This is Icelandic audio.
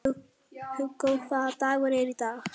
Hugó, hvaða dagur er í dag?